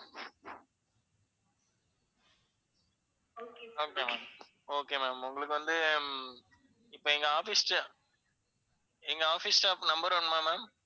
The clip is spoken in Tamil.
okay ma'am, okay ma'am உங்களுக்கு வந்து இப்ப எங்க office எங்க office staff number வேணுமா ma'am?